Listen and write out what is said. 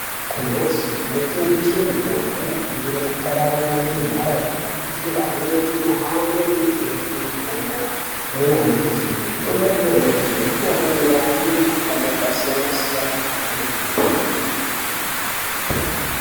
Kumhatso inotengese mutombo inofane kupararire muntaraunda kuitira amweni ahambe kunotenga mutombo yanyamashi. Mitombo yanyamashi mitombo inorape mikhuhlane yakasiyana siyana kwemene